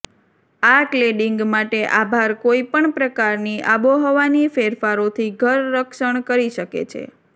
આ ક્લેડીંગ માટે આભાર કોઈપણ પ્રકારની આબોહવાની ફેરફારોથી ઘર રક્ષણ કરી શકે છે